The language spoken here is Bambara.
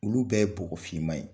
Olu bɛɛ bɔgɔ finman ye.